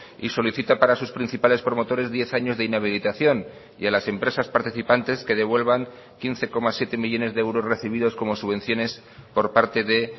y solicita para sus principales promotores diez años de inhabilitación y a las empresas participantes que devuelvan quince coma siete millónes de euros recibidos como subvenciones por parte de